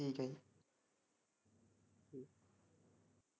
ਠੀਕ ਐ।